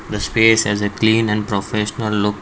the space has a clean and professional look.